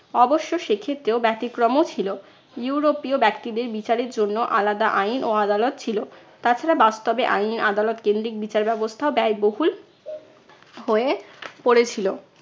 অবশ্য সেই ক্ষেত্রেও ব্যতিক্রমও ছিল। ইউরোপীয় ব্যক্তিদের বিচারের জন্য আলাদা আইন ও আদালত ছিল। তাছাড়া বাস্তবে আইন আদালত কেন্দ্রিক বিচার ব্যবস্থাও বায়বহুল হয়ে পড়েছিল।